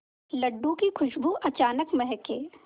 लड्डू की खुशबू अचानक महके